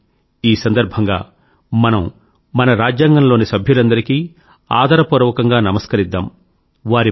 రండి ఈ సందర్భంగా మన రాజ్యాంగం లోని సభ్యులందరికీ ఆదర పూర్వకంగా నమస్కరిద్దాం